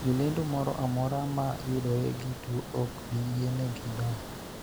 Jolendo moro amora ma yudore gi tuo ok biyienegi donjo.